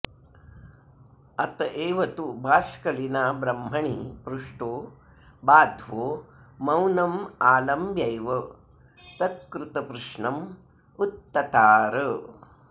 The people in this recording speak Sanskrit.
अत एव तु बाष्कलिना ब्रह्मणि पृष्टो बाध्वो मौनमालम्ब्यैव तत्कृतप्रश्नमुक्ततार